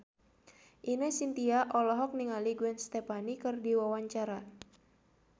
Ine Shintya olohok ningali Gwen Stefani keur diwawancara